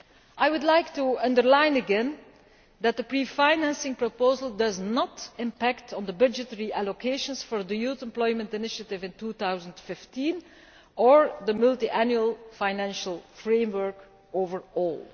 I would like to underline again that the pre financing proposal does not impact on the budgetary allocations for the Youth Employment Initiative in 2015, or the multiannual financial framework overall.